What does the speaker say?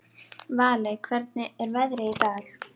Valey, hvernig er veðrið í dag?